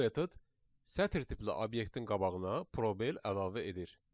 Bu metod sətr tipli obyektin qabağına probel əlavə edir.